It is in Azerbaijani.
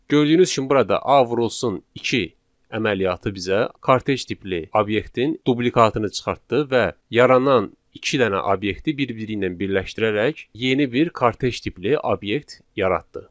Gördüyünüz kimi burada A vurulsun 2 əməliyyatı bizə kartej tipli obyektin duplikatını çıxartdı və yaranan iki dənə obyekti bir-biri ilə birləşdirərək yeni bir kartej tipli obyekt yaratdı.